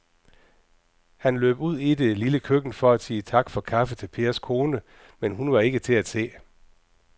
Han løb ud i det lille køkken for at sige tak for kaffe til Pers kone, men hun var ikke til at se.